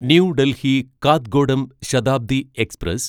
new Delhi Kathgodam Shatabdi express